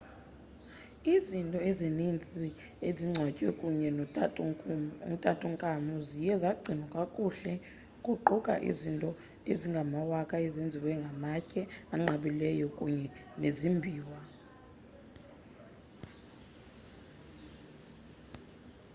izinto ezininzi ezingcwatywe kunye notutankhamun ziye zagcinwa kakuhle kuquka izinto ezingamawaka ezenziwe ngamatye anqabileyo kunye nezimbiwa